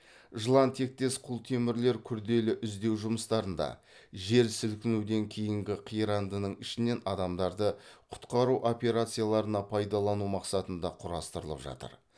жылан тектес құлтемірлер күрделі іздеу жұмыстарында жер сілкінуден кейінгі қирандының ішінен адамдарды құтқару операцияларына пайдалану мақсатында құрастырылып жатыр